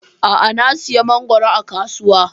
A'a, na sayi mangoro a kasuwa.